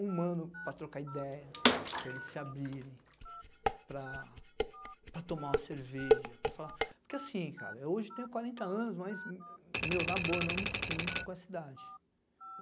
Um mano para trocar ideia, para eles se abrirem, para para tomar uma cerveja, para falar... Porque assim, cara, hoje tenho quarenta anos, mas, meu, na boa, não me sinto com essa idade.